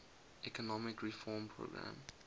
economic reform program